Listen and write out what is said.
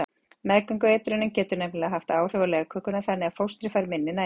Meðgöngueitrunin getur nefnilega haft áhrif á legkökuna þannig að fóstrið fær minni næringu.